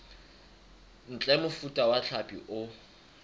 ntle mofuta wa hlapi o